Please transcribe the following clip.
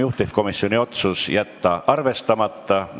Juhtivkomisjoni otsus: jätta arvestamata.